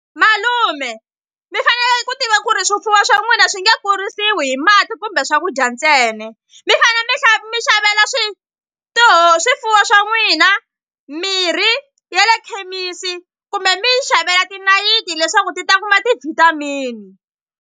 Malume mi fanele ku tiva ku ri swifuwo swa n'wina swi nge kurisiwi hi mati kumbe swakudya ntsena mi fane mi mi xavela swifuwo swa n'wina mirhi ya le khemisi kumbe mi yi xavela tinayiti leswaku ti ta kuma ti-vitamin.